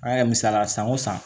An yɛrɛ misaliya san o san